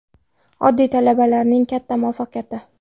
Oddiy talabalarning katta muvaffaqiyati.